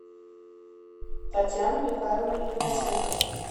татьяну михайловну игнатенко